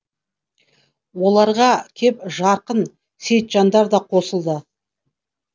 оларға кеп жарқын сейтжандар да қосылды